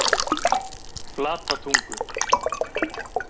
Flatatungu